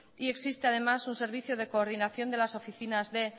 y existe además un servicio de coordinación de las oficinas de